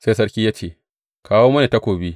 Sai sarki ya ce, Kawo mini takobi.